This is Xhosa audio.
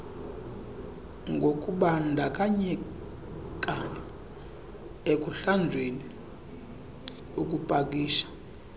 ngokubandakanyeka ekuhlanjweni ukupakisha